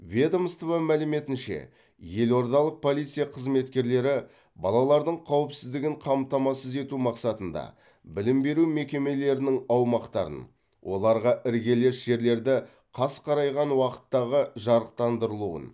ведомство мәліметінше елордалық полиция қызметкерлері балалардың қауіпсіздігін қамтамасыз ету мақсатында білім беру мекемелерінің аумақтарын оларға іргелес жерлерді қас қарайған уақыттағы жарықтандырылуын